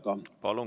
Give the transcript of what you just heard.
Palun!